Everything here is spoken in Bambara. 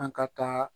An ka taa